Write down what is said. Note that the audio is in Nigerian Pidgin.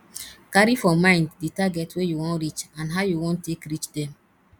carry for mind the target wey you wan reach and how you wan take reach dem